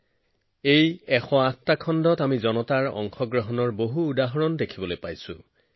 এশ চল্লিশ কোটি ভাৰতীয়ৰ শক্তি এই যে এইবাৰ আমাৰ দেশে বহু বিশেষ তাৎপৰ্যপূৰ্ণ সাফল্য লাভ কৰিছে